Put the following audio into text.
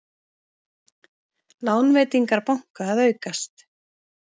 Lánveitingar banka að aukast